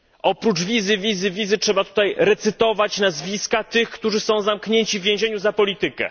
Oprócz wizy, wizy, wizy trzeba tutaj recytować nazwiska tych, którzy są zamknięci w więzieniu za politykę.